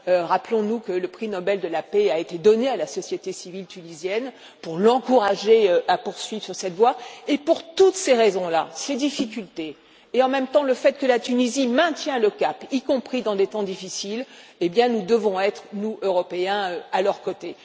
Rappelons nous que le prix Nobel de la paix a été attribué à la société civile tunisienne pour l'encourager à poursuivre sur cette voie, et pour toutes ces raisons, ces difficultés et, en même temps, le fait que la Tunisie maintienne le cap, y compris dans des temps difficiles, nous devons être, nous, Européens, à ses côtés.